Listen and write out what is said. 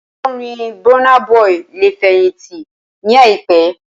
Olórin Burna Boy lè fẹ̀yìntì ní àìpé